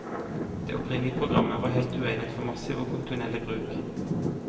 Det opprinnelige programmet var helt uegnet for massiv og kontinuerlig bruk.